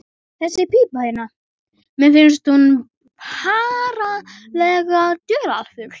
Þessi pípa hérna. mér finnst hún ferlega dularfull.